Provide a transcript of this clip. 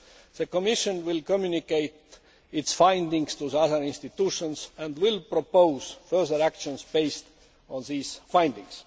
The Commission will communicate its findings to the other institutions and will propose further action based on these findings.